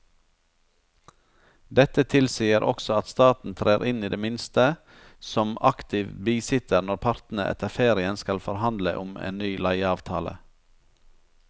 Dette tilsier også at staten trer inn i det minste som aktiv bisitter når partene etter ferien skal forhandle om en ny leieavtale.